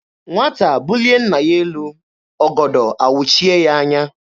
Nwata bulie nna ya elu, ọgọdọ awụchie ya anya.